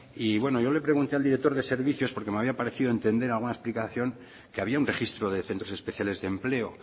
y bueno yo le pregunté al director de servicios porque me había parecido entender alguna explicación que había un registro de centros especiales de empleo